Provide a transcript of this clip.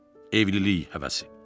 Evlilik həvəsi.